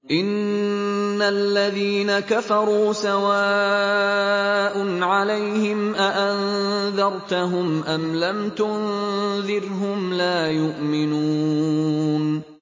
إِنَّ الَّذِينَ كَفَرُوا سَوَاءٌ عَلَيْهِمْ أَأَنذَرْتَهُمْ أَمْ لَمْ تُنذِرْهُمْ لَا يُؤْمِنُونَ